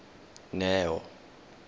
neo